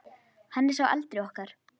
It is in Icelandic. Hann er sá eldri okkar.